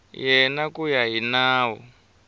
yena ku ya hi nawu